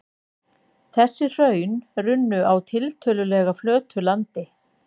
Þessi hraun runnu á tiltölulega flötu landi.